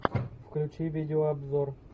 включи видеообзор